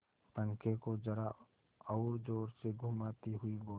पंखे को जरा और जोर से घुमाती हुई बोली